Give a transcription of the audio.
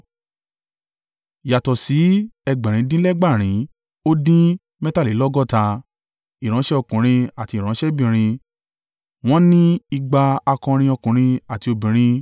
Yàtọ̀ sí ẹgbẹ̀rin dín lẹ́gbàárin ó dín mẹ́tàlélọ́gọ́ta (7,337) ìránṣẹ́ ọkùnrin àti ìránṣẹ́bìnrin; wọ́n ní igba (200) akọrin ọkùnrin àti obìnrin.